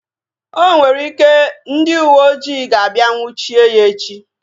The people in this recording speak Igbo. O nwere ike, ndị uwe ojii ga-abịa nnwuchie ya echi